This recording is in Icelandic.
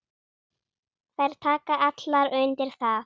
Þær taka allar undir það.